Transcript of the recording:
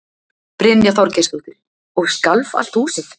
Brynja Þorgeirsdóttir: Og skalf allt húsið?